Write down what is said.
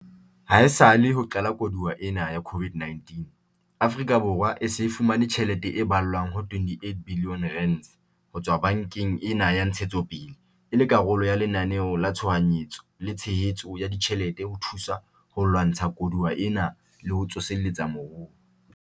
Haesale ho qala koduwa ena ya COVID-19, Afrika Borwa e se e fumane tjhelete e ballwang ho R28 billione ho tswa bankeng ena ya Ntshetsopele e le karolo ya Lenaneo la Tshohanyetso la Tshehetso ya Ditjhelete ho thusa ho lwantsha koduwa ena le ho tsoseletsa moruo.